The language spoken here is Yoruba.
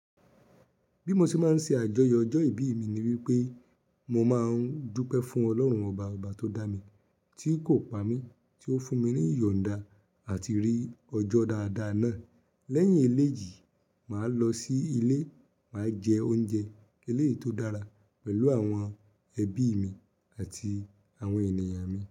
Bí mo ṣe máa ń ṣe àjọyọ̀ ọjọ́ ìbí mi ni wípé mo máa ń dúpẹ́ fún Ọlọ́run ọba ọba tó dá mi, tí kò pa mí, tí ó fún mi ní ìyọ̀nda àti rí ọjọ́ dáadáa náà. Lẹ́yìn eléyi, màá lọ sí ilé, màá jẹ oúnjẹ eléyìí tó dára pẹ̀lú àwọn ẹbí mi àti àwọn ènìyàn mi.